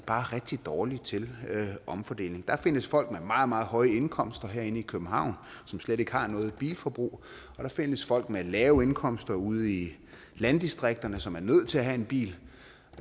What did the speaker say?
bare rigtig dårlige til omfordeling der findes folk med meget meget høje indkomster herinde i københavn som slet ikke har noget bilforbrug og der findes folk med lave indkomster ude i landdistrikterne som er nødt til at have en bil